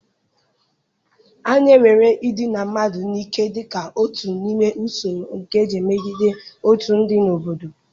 A na-ewere idina mmadụ n'ike dị ka otu n'ime usoro nke eji emegide otu ndị n'obodo.